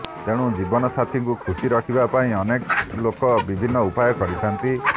ତେଣୁ ଜୀବନ ସାଥୀଙ୍କୁ ଖୁସି ରଖିବା ପାଇଁ ଅନେକ ଲୋକ ବିଭିନ୍ନ ଉପାୟ କରିଥାନ୍ତି